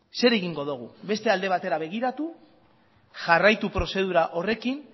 zer egingo dugu beste alde batera begiratu jarraitu prozedura horrekin